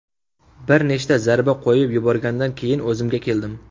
Bir nechta zarba qo‘yib yuborgandan keyin o‘zimga keldim.